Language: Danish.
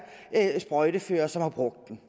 sprøjtefører som har brugt den